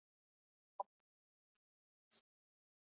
Hann mjakar sér nær.